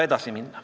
Jevgeni Ossinovski.